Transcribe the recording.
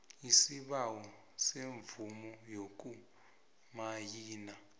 isibawo semvumo yokumayina